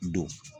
Don